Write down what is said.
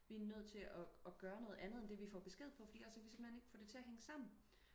vi er nødt til og og gøre noget andet end det vi har får besked på fordi ellers så kan vi simpelthen ikke få det til og hænge sammen